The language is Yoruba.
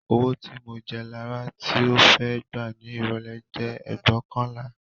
Owó tí mo jẹ Lará tí ó fẹ́ gbà ní ìrọ̀lẹ́ jẹ́ ẹgbóokànlá